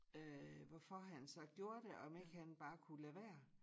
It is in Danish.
Øh hvorfor han så gjorde det om ikke han bare kunne lade være